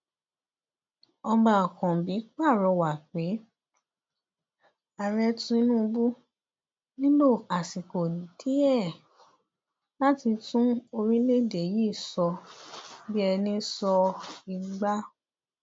ọba ákànbí pàrọwà pé ààrẹ tinubu nílò àsìkò díẹ láti tún orílẹèdè yìí sọ bíi ẹni sọ igba